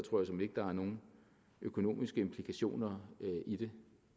der er nogen økonomiske implikationer i det